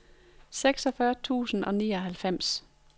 seksogfyrre tusind og nioghalvfems